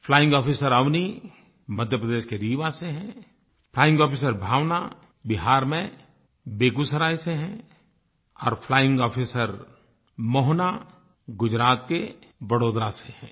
flying officer Avani Madhya Pradesh के रीवा से हैं फ्लाइंग आफिसर भावना बिहार में बेगूसराय से हैं और फ्लाइंग आफिसर मोहना गुजरात के बड़ोदरा से हैं